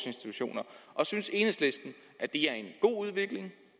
institutioner synes enhedslisten det